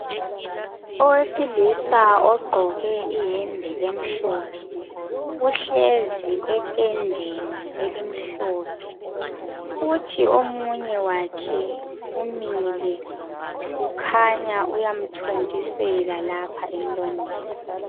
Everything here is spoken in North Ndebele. Owesilisa ogqoke iyembe emhlophe uhlezi etendenei elimhlophe kuthi omunye wakhe umile ukhanya uyamthontisela lapha emlonyeni.